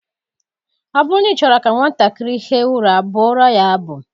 Ọ bụrụ na ị chọrọ ka nwatakịrị hie ụra, bụụrụ ya abụ